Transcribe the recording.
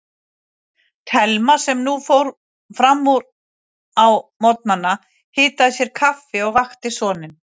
Thelma sem nú fór fram úr á morgnana, hitaði sér kaffi og vakti soninn.